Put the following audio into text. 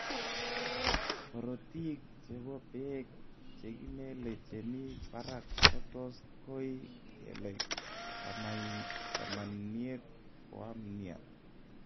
korotig chepo peek chegimele chemii parak kotos koi kelek kamaniet koam niaa